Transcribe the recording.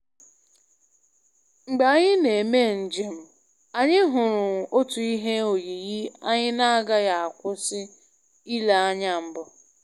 Mgbe anyị na-eme njem, anyị hụrụ otu ihe oyiyi anyị na-agaghị akwụsị ile anya mbụ